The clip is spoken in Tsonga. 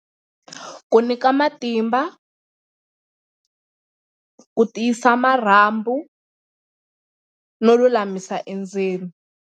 Ku nyika matimba, ku tiyisa marhambu no lulamisa endzeni.